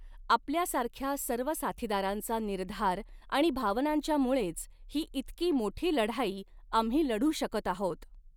आपल्यासाऱख्या सर्व साथीदारांचा निर्धार आणि भावनांच्यामुळेच ही इतकी मोठी लढाई आम्ही लढू शकत आहोत.